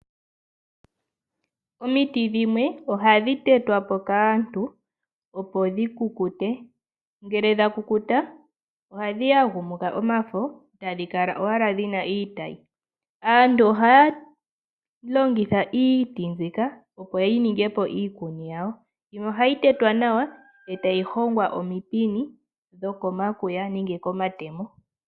Omiti dhimwe ohadhi tetwapo kaantu opo dhikukute, ngele dhakukuta ohadhi yagumuka omafo etadhi kala owala dhina iitayi. Iitayi mbika ohayi ningi po iikuni naantu ohaalongitha iikuni mbika. Iitayi ohayi hongwa woo nawa yi ninge omipini dhoko matemo nomakwiya.